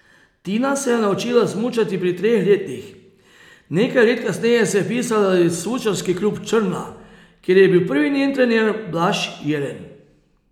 Tina se je naučila smučati pri treh letih, nekaj let kasneje se je vpisala v Smučarski klub Črna, kjer je bil njen prvi trener Blaž Jelen.